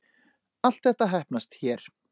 Allt þetta heppnast hér